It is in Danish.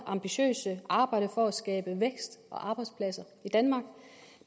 ambitiøse arbejde for at skabe vækst og arbejdspladser i danmark